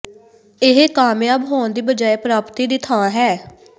ਇਹ ਕਾਮਯਾਬ ਹੋਣ ਦੀ ਬਜਾਏ ਪ੍ਰਾਪਤੀ ਦੀ ਥਾਂ ਹੈ